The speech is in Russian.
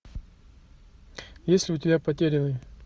есть ли у тебя потерянный